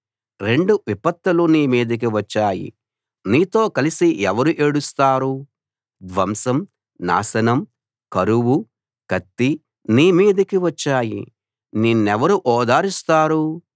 రెండు విపత్తులు నీ మీదికి వచ్చాయి నీతో కలిసి ఎవరు ఏడుస్తారు ధ్వంసం నాశనం కరువు కత్తి నీ మీదికి వచ్చాయి నిన్నెవరు ఓదారుస్తారు